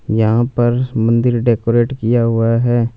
यहां पर मंदिर डेकोरेट किया हुआ है।